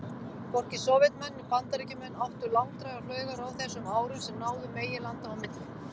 Hvorki Sovétmenn né Bandaríkjamenn áttu langdrægar flaugar á þessum árum sem náðu meginlanda á milli.